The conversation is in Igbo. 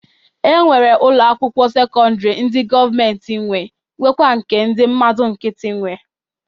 E nwere ụlọ akwụkwọ sekọndịrị ndị gọọmentị nwe nwekwaa ndị nke mmadụ nkịtị nwe.